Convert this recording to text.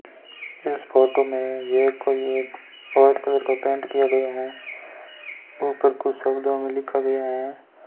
इस फोटो मे ये कोई एक वाइट कलर का पेंट किया गया है उपर कुछ शब्दों मे लिखा गया है।